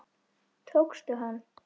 Tókstu hann?